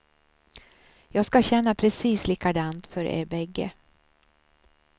Jag ska känna precis likadant för er bägge.